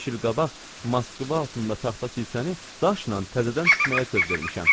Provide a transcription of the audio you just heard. Beş il qabaq Moskva altında taxta kilsəni daşla təzədən tikməyə söz vermişəm.